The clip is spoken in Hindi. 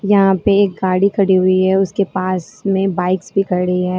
यहां पर गाड़ी खड़ी हुई है उसके पास में बाइक भी खड़ी है।